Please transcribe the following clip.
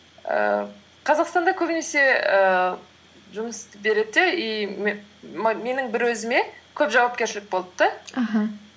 ііі қазақстанда көбінесе ііі жұмысты береді де и менің бір өзіме көп жауапкершілік болды да аха